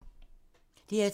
DR2